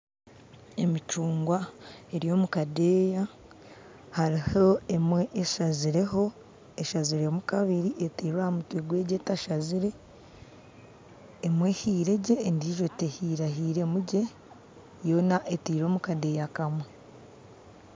Emicunguwa eri omu kadeeya hariho emwe eshazireho eshaziremu kabiri etairwe aha mutwe gwa egi etashazire emwe ehiire gye endijo tehirahiremu gye yoona etairwe mu kadeeya kamwe